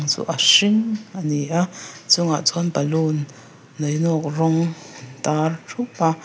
chu a hring a ni a a chungah chuan balûn niainawk rawng târ ṭhup a.